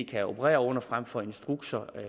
kan operere under frem for instrukser